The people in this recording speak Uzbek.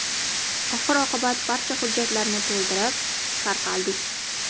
Oxir-oqibat barcha hujjatlarni to‘ldirib, tarqaldik.